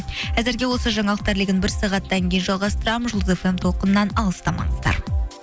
әзірге осы жаңалықтар легін бір сағаттан кейін жалғастырамын жұлдыз эф эм толқынынан алыстамаңыздар